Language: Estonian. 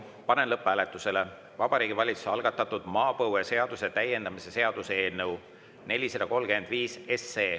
Panen lõpphääletusele Vabariigi Valitsuse algatatud maapõueseaduse täiendamise seaduse eelnõu 435.